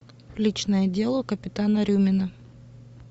личное дело капитана рюмина